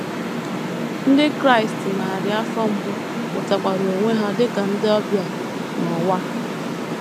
Ndị Kraịst narị afọ mbụ hụtakwara onwe ha dị ka “ ndị ọbịa ” n’ụwa a.